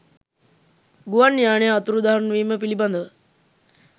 ගුවන් යානය අතුරුදහන්වීම පිළිබඳව